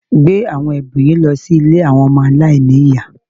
Gbé àwọn ẹ̀bùn yìí lọ sí ilé àwọn ọmọ aláìní ní ìyá